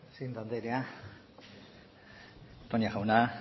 presidente andrea toña jauna